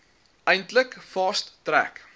eintlik fast track